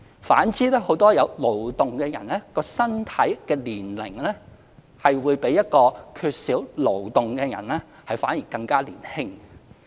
反之，很多有勞動的人其身體、年齡會較一個缺少勞動的人更加"年青"。